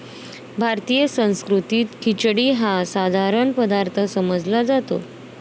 भारतीय संस्कृतीत खिचडी हा साधारण पदार्थ समजला जातो.